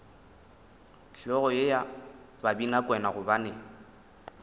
hlogo ye ya babinakwena gobane